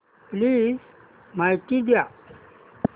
please माहिती द्या